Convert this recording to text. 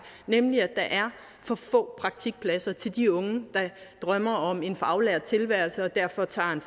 nemlig at der er for få praktikpladser til de unge der drømmer om en faglært tilværelse og derfor tager